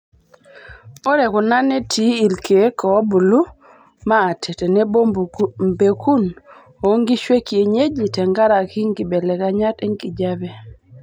Ore kuna netii irkiek oo buluu maate tenebo mpekun onkishu ekinyeji tenkaraki nkibelekenyat enkijiape.